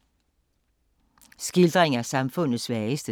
Skildring af samfundets svageste